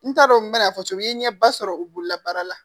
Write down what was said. N t'a dɔn n bɛn'a fɔ cogo min n'i ɲɛ ba sɔrɔ u bolola baara la